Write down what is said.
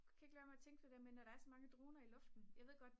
jeg kan ikke lade være med at tænke på når der er så mange droner i luften jeg ved godt